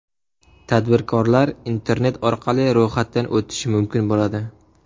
Tadbirkorlar internet orqali ro‘yxatdan o‘tishi mumkin bo‘ladi.